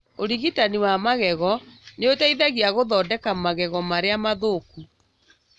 ũrigitani wa magego nĩũteithagia gũthondeka magego marĩa mathũku